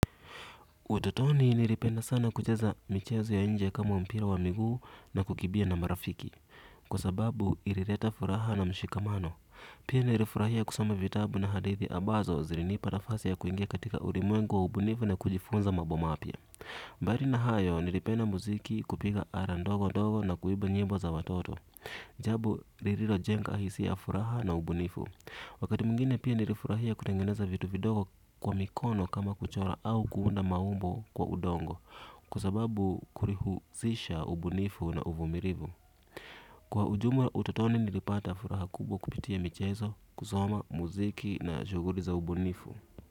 Utotoni nilipenda sana kucheza michezo ya nje kama mpira wa miguu na kukimbia na marafiki kwa sababu ilileta furaha na mshikamano pia nilifurahia kusoma vitabu na hadithi ambazo zilinipa nafasi ya kuingia katika ulimwengu wa ubunifu na kujifunza mambo mapya. Mbali na hayo nilipenda muziki kupika ala ndogo ndogo na kuimba nyimbo za watoto. Jambo lililojenga hisia furaha na ubunifu. Wakati mwingine pia nilifurahia kutengeneza vitu vidogo kwa mikono kama kuchora au kuunda maumbo kwa udongo. Kwa sababu kulihusisha ubunifu na uvumilivu. Kwa ujumla utotoni nilipata furaha kubwa kupitia michezo kusoma muziki na shughuli za ubunifu.